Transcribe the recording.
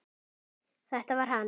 Þetta var hann!